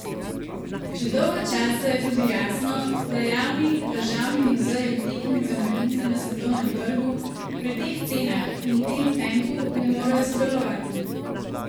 Koliko podjetij v Sloveniji lahko prenese tak šok?